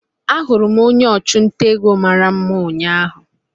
Ahụrụ m onye ọchụnta ego mara mma ụnyahụ